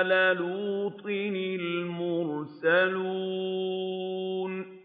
آلَ لُوطٍ الْمُرْسَلُونَ